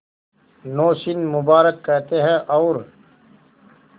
नौशीन मुबारक कहते हैं और